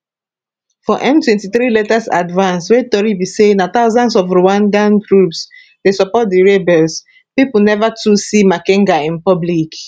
for m23 latest advance wey tori be say na thousands of rwandan troops dey support di rebels pipo neva too see makenga in public